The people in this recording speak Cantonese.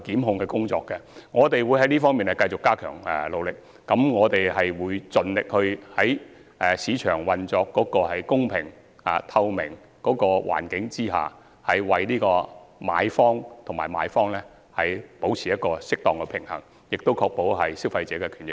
我們會繼續在這方面加緊努力，盡力讓市場在公平及透明的環境下運作，為買賣雙方保持適當的平衡，並確保消費者的權益。